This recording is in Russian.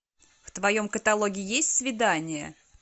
в твоем каталоге есть свидание